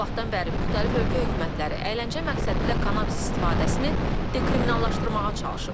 O vaxtdan bəri müxtəlif ölkə hökumətləri əyləncə məqsədilə kannabis istifadəsini dekriminallaşdırmağa çalışıb.